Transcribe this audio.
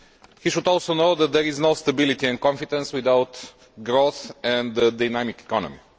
He should also know that there is no stability and confidence without growth and a dynamic economy.